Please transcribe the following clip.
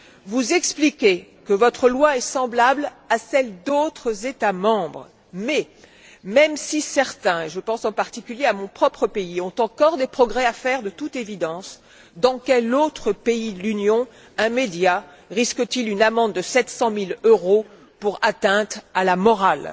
Vous expliquez que votre loi est semblable à celle d'autres États membres mais, même si certains et je pense en particulier à mon propre pays ont encore des progrès à faire de toute évidence, dans quel autre pays de l'Union un média risque t il une amende de sept cent mille euros pour atteinte à la morale?